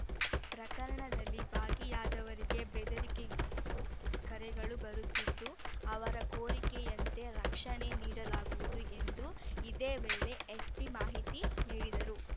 ಪ್ರಕರಣದಲ್ಲಿ ಭಾಗಿಯಾದವರಿಗೆ ಬೆದರಿಕೆ ಕರೆಗಳು ಬರುತ್ತಿದ್ದು ಅವರ ಕೋರಿಕೆಯಂತೆ ರಕ್ಷಣೆ ನೀಡಲಾಗುವುದು ಎಂದು ಇದೇ ವೇಳೆ ಎಸ್ಪಿ ಮಾಹಿತಿ ನೀಡಿದರು